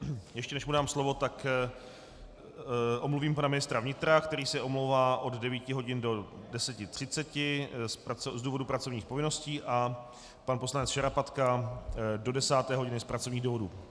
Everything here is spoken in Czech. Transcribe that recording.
Ještě než mu dám slovo, tak omluvím pana ministra vnitra, který se omlouvá od 9 hodin do 10.30 z důvodu pracovních povinností, a pan poslanec Šarapatka do 10. hodiny z pracovních důvodů.